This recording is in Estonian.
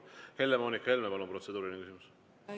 Helle-Moonika Helme, palun, protseduuriline küsimus!